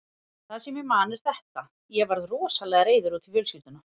Það sem ég man er þetta: Ég var rosalega reiður út í fjölskylduna.